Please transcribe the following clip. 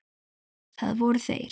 Það voru þeir